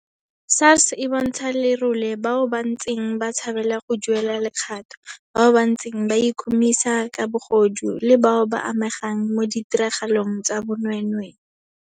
SARS e bontsha lerole bao ba ntseng ba tshabela go duelela lekgatho, bao ba ntseng ba ikhumisa ka bogodu, le bao ba amegang mo ditiragalong tsa bonweenwee.